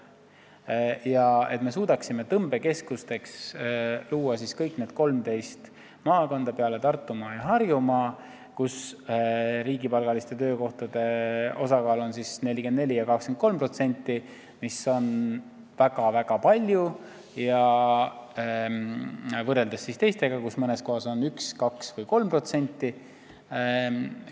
Minu arvates me suudaksime teha tõmbekeskusteks kõik need 13 maakonda peale Tartumaa ja Harjumaa, kus riigipalgaliste töökohtade osakaal on väga suur, 44% ja 23%, samal ajal kui teistest kohtadest mõnes on see 1, 2 või 3%.